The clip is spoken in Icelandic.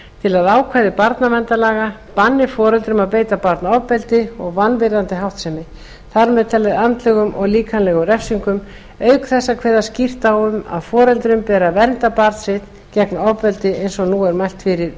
til að ákvæði barnalaga banni foreldrum að beita barn ofbeldi og vanvirðandi háttsemi þar með talið andlegum og líkamlegum refsingum auk þess að kveða skýrt á um að foreldrum beri að vernda barn sitt gegn ofbeldi eins og nú er mælt fyrir um